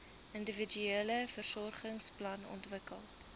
individuele versorgingsplan ontwikkel